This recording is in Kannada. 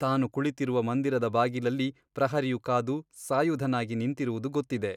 ತಾನು ಕುಳಿತಿರುವ ಮಂದಿರದ ಬಾಗಿಲಲ್ಲಿ ಪ್ರಹರಿಯು ಕಾದು ಸಾಯುಧನಾಗಿ ನಿಂತಿರುವುದು ಗೊತ್ತಿದೆ.